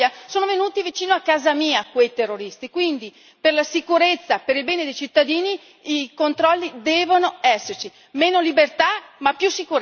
Sono venuti vicino a casa mia quei terroristi e quindi per la sicurezza, per il bene dei cittadini, i controlli devono esserci meno libertà ma più sicurezza.